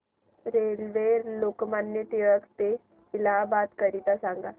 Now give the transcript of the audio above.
railway Lokmanya Tilak ट ते इलाहाबाद करीता सांगा